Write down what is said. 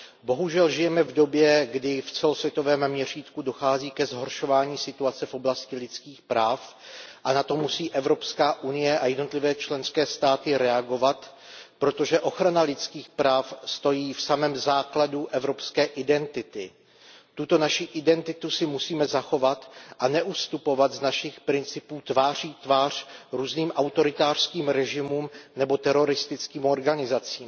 Bohužel žijeme v době, kdy v celosvětovém měřítku dochází ke zhoršování situace v oblasti lidských práv a na to musí Evropská unie a jednotlivé členské státy reagovat, protože ochrana lidských práv stojí v samém základu evropské identity. Tuto naši identitu si musíme zachovat a neustupovat z našich principů tváří v tvář různým autoritářským režimům nebo teroristickým organizacím.